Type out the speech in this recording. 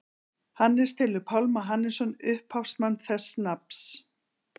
Hannes telur Pálma Hannesson upphafsmann þessa nafns.